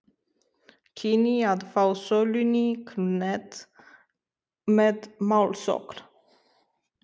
kynni að fá sölunni hnekkt með málsókn.